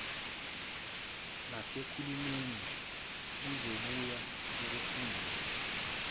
nasekhulumeni kuzobuye kufundise